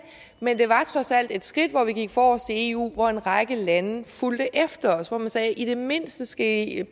men det var trods alt et skridt hvor vi gik forrest i eu hvor en række lande fulgte efter os hvor man sagde i det mindste skal i